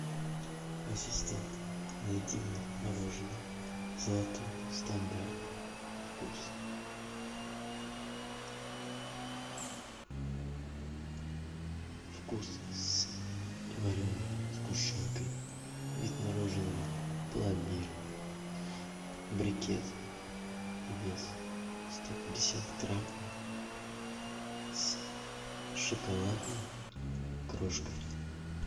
ассистент найди мне мороженое золотой стандарт вкус вкус с вареной сгущенкой вид мороженого пломбир брикет вес сто пятьдесят грамм с шоколадной крошкой